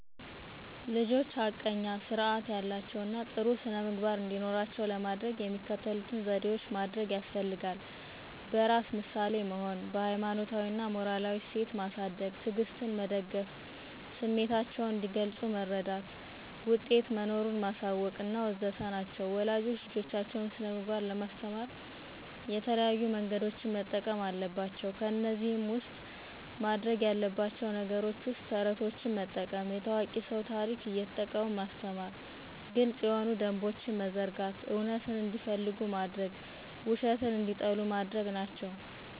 ልጆች ሐቀኛ ስርአት ያላቸው እና ጥሩ ስነምግባር እንዲኖራቸው ለማደረግ የሚከተሉትን ዘዴዎች ማደርግ ያስፈልጋል። በራስ ምሳሌ መሆን፣ በሀይማኖታዊ እና ሞራላዊ እሴት ማሳድግ፣ ትዕግስትን መደገፍ፣ ስሚታቸውን እንዲገልጽ መረዳት፣ ውጤት መኖሩን ማሳወቅ.. ወዘተ ናቸው ወላጆች ልጆቻቸውን ስነምግባር ለማስተማር የተለያዩ መንገዶችን መጠቀም አለባቸው ከዚህ ውስጥ ማድርግ ያለባቸው ነገር ውስጥ ተረቶችን መጠቀም፣ የታዋቂ ስው ታርክ እየተጠቀሙ ማስተማር፣ ግልጽ የሆኑ ደንቦችን መዘርጋት፣ እውነትን እንዲፈልጉ ማድርግ ውሸትን እንዲጠሉ ማድርግ ናቸው።